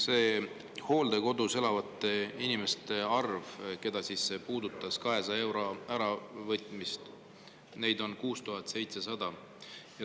Neid hooldekodus elavaid inimesi, keda see 200 euro äravõtmine puudutas, on 6700.